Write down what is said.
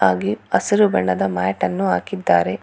ಹಾಗೆ ಹಸಿರು ಬಣ್ಣದ ಮ್ಯಾಟನ್ನು ಹಾಕಿದ್ದಾರೆ.